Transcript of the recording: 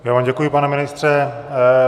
Já vám děkuji, pane ministře.